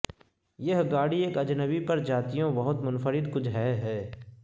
یہ گاڑی ایک اجنبی پرجاتیوں بہت منفرد کچھ ہے ہے